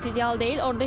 Heç kəs ideal deyil.